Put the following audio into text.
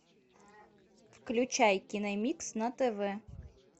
включай киномикс на тв